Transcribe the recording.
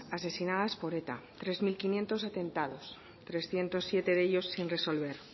asesinadas por eta tres mil quinientos atentados trescientos siete de ellos sin resolver